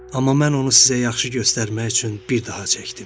Amma mən onu sizə yaxşı göstərmək üçün bir daha çəkdim.